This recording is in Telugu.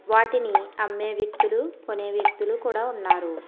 వాటిని అమ్మే వ్యక్తులు కోనే వ్యక్తులు కూడా ఉన్నారు.